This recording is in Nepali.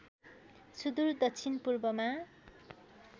सुदूर दक्षिण पूर्वमा